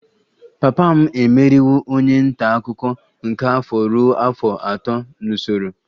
Papa m emeriwo onye nta akụkọ nke afọ ruo afọ atọ n'usoro